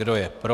Kdo je pro?